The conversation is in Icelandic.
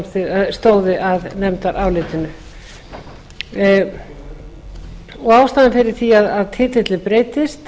jón bjarnason stóðu að nefndarálitinu ástæðan fyrir því að titillinn breytist